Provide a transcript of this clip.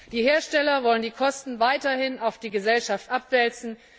Die Hersteller wollen die Kosten weiterhin auf die Gesellschaft abwälzen.